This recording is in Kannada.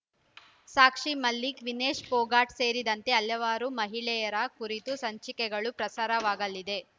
ಸಾಕ್ಷಿ ಮಲಿಕ್ ವಿನೇಶ್ ಪೊಗಾಟ್ ಸೇರಿದಂತೆ ಹಲವಾರು ಮಹಿಳೆಯರ ಕುರಿತ ಸಂಚಿಕೆಗಳು ಪ್ರಸಾರವಾಗಲಿದೆ